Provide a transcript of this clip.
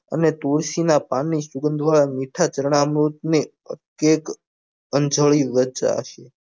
અને તુલસી ના પાનની સુગંધ મીઠા જરનામૃત ને અન્જલ્યું